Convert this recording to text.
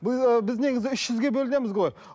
ы біз негізі үш жүзге бөлінеміз ғой